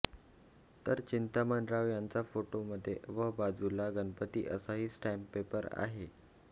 तर चिंतामणराव यांचा फोटो मध्ये व बाजूला गणपती असाही स्टॅम्पपेपर आहे